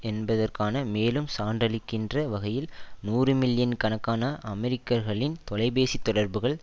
என்பதற்கான மேலும் சான்றளிக்கின்ற வகையில் நூறு மில்லியன் கணக்கான அமெரிக்கர்களின் தொலைபேசி தொடர்புகள்